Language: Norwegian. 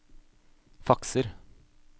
fakser